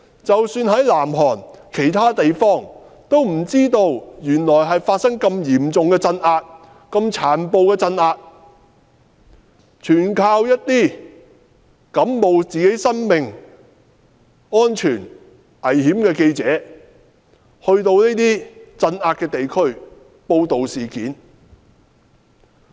即使在南韓其他地方，市民也不知道原來發生了這麼殘暴的鎮壓，全靠冒生命危險的記者到鎮壓地區報道事件。